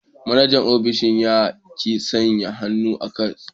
Manajan ofishin ya ki sanya hannu a cak.